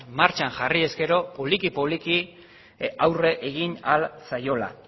martxan jarriz gero poliki poliki aurre egin ahal zaiola